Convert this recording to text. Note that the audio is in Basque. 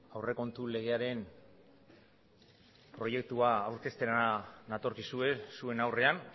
aurrekontu legearen proiektua aurkeztera natorkizue zuen aurrean